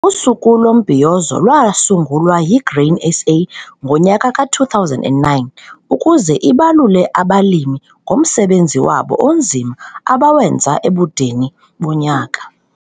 Usuku lomBhiyozo lwasungulwa yiGrain SA ngo2009 ukuze ibalule abalimi ngomsebenzi wabo onzima abawenza ebudeni bonyaka.